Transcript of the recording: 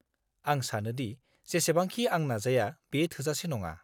आं सानो दि जेसेबांखि आं नाजाया बेयो थोजासे नङा।